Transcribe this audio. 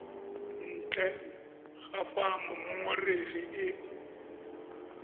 ntle ga fa mongongoregi e